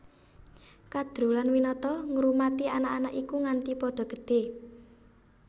Kadru lan Winata ngrumati anak anak iku nganti padha gedhé